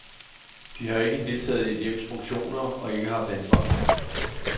De har ikke deltaget i et hjems funktioner og ikke haft ansvar.